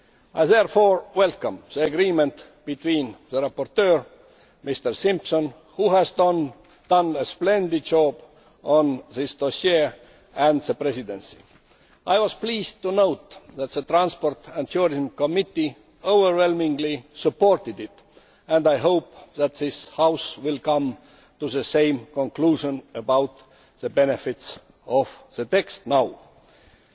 I therefore welcome the agreement between the rapporteur, Mr Simpson who has done a splendid job on this dossier and the Presidency. I was pleased to note that the Committee on Transport and Tourism overwhelmingly supported it, and I hope that this House will come to the same conclusion about the benefits of the text as it stands now.